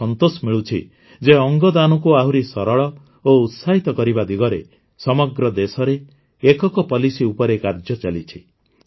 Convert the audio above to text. ମୋତେ ସନ୍ତୋଷ ମିଳୁଛି ଯେ ଅଙ୍ଗଦାନକୁ ଆହୁରି ସରଳ ଓ ଉତ୍ସାହିତ କରିବା ଦିଗରେ ସମଗ୍ର ଦେଶରେ ଏକକ ପୋଲିସି ଉପରେ କାର୍ଯ୍ୟ ଚାଲିଛି